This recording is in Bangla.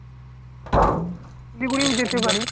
শিলিগুড়িও যেতে পারিস।